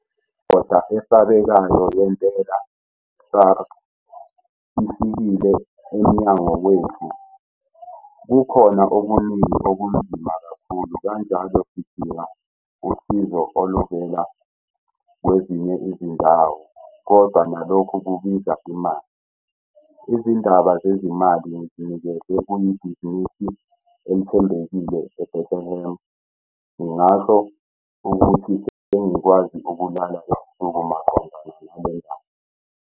"Indoda esabekayo yentelo, SARS, ifikile emnyango wethu. Kukhona okuning okunzima kakhulu, kanjalo sididinga usizo ovela kwezinye izindawo, kodwa nalokhu kubiza imali. Izindaba zezimali ngizinekeze kuyibhizinisinisi elithembekile Bethlehemi. Ngingasho ukuthi sengikwazi ukulala ebusuku maqondana nale ndaba."